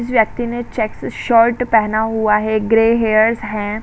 व्यक्ति ने check shirt पहना हुआ है। ग्रे हेयर हैं।